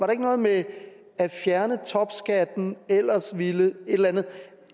ikke noget med at fjerne topskatten ellers ville et eller andet